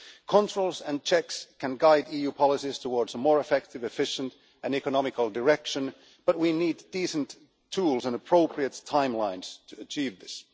Controls and checks can guide EU policies towards a more effective, efficient and economic direction, but we need decent tools and appropriate timelines to achieve this.